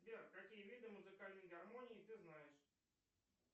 сбер какие виды музыкальной гармонии ты знаешь